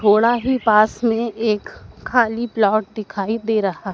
थोड़ा ही पास में एक खाली प्लॉट दिखाई दे रहा।